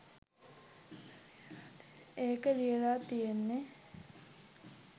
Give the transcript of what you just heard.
ඒක ලියලා තියෙන්නෙ